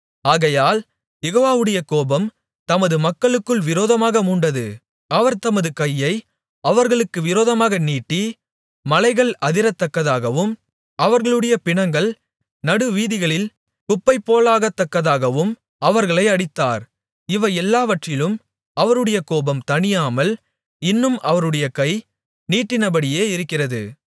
ஆகையால் யெகோவாவுடைய கோபம் தமது மக்களுக்கு விரோதமாக மூண்டது அவர் தமது கையை அவர்களுக்கு விரோதமாக நீட்டி மலைகள் அதிரத்தக்கதாகவும் அவர்களுடைய பிணங்கள் நடுவீதிகளில் குப்பை போலாகத்தக்கதாகவும் அவர்களை அடித்தார் இவை எல்லாவற்றிலும் அவருடைய கோபம் தணியாமல் இன்னும் அவருடைய கை நீட்டினபடியே இருக்கிறது